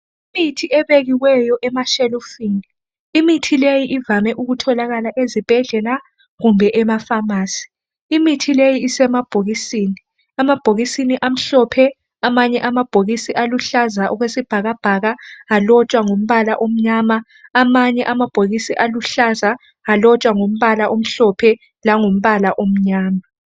Imithi ebekiweyo emashelufini, imithi le ivame ukutholakala ezibhedlela kumbe emafamasi. Imithi leyi isemabhokisini amhlophe amanye amabhokisi aluhlaza okwesibhakabhaka alotshwa ngombala omnyama, amanye amabhokisi aluhlaza alotshwa ngombala omhlophe langombala omnyama.